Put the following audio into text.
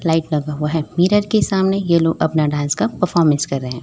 Light लगा हुआ है मिरर के सामने यह लोग अपना डांस का परफॉर्मेंस कर रहे हैं।